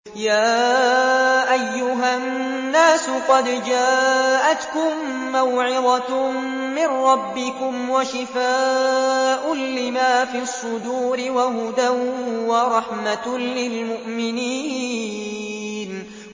يَا أَيُّهَا النَّاسُ قَدْ جَاءَتْكُم مَّوْعِظَةٌ مِّن رَّبِّكُمْ وَشِفَاءٌ لِّمَا فِي الصُّدُورِ وَهُدًى وَرَحْمَةٌ لِّلْمُؤْمِنِينَ